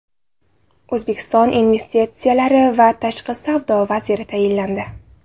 O‘zbekiston investitsiyalar va tashqi savdo vaziri tayinlandi.